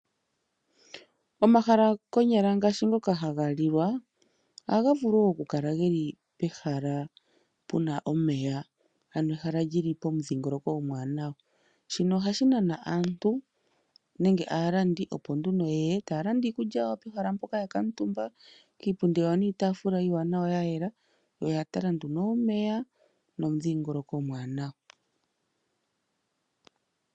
Omahala konyala ngaashi ngoka haga lilwa ohaga vulu wo okukala ge li pehala pu na omeya, ano hala li li pomudhingoloko omwaanawa. Shino ohashi nana aantu nenge aalandi opo nduno ye ye taya landa iikulya yawo pehala mpoka ya kuutumba kiipundi yawo niitaafula ya yela yo oya tala nduno omeya nomudhingoloko omwaanawa.